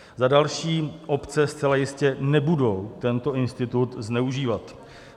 Za další, obce zcela jistě nebudou tento institut zneužívat.